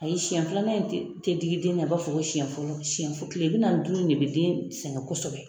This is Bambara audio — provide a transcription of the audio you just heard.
A ye siyɛn filanan tɛ tɛ digi den na i b'a fɔ ko siyɛn fɔlɔ siyɛn kile bi naani ni duuru in de bɛ den sɛgɛn kosɛbɛ.